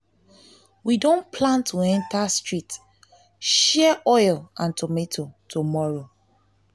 we don plan to enter street share street share oil and tomatoes tomorrow